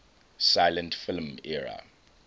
silent film era